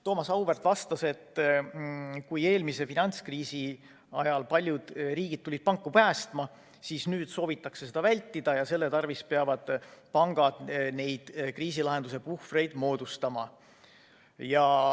Thomas Auväärt vastas, et eelmise finantskriisi ajal tulid paljud riigid panku päästma, aga nüüd soovitakse seda vältida ja selle tarvis peavadki pangad kriisilahenduse puhvreid moodustama.